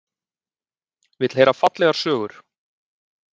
Vill heyra fallegar sögur.